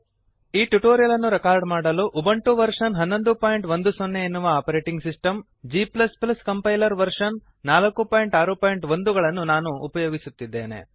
ಈ ಟ್ಯುಟೋರಿಯಲ್ ಅನ್ನು ರೆಕಾರ್ಡ್ ಮಾಡಲು ಉಬುಂಟು ವರ್ಷನ್ 1110 ಎನ್ನುವ operating system g compiler version 461 ಗಳನ್ನು ನಾನು ಬಳಸುತ್ತಿದ್ದೇನೆ